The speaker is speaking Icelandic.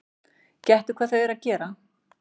Gettu hvað þau eru að gera?